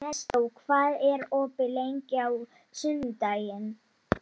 Sigurlinni, hvernig er veðrið í dag?